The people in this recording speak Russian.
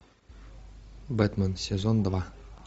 бэтмен сезон два